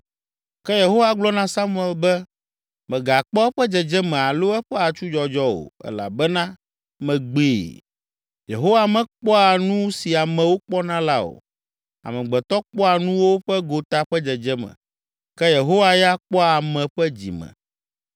Ke Yehowa gblɔ na Samuel be, “Mègakpɔ eƒe dzedzeme alo eƒe atsudzɔdzɔ o elabena megbee. Yehowa mekpɔa nu si amewo kpɔna la o. Amegbetɔ kpɔa nuwo ƒe gota ƒe dzedzeme, ke Yehowa ya kpɔa ame ƒe dzime.”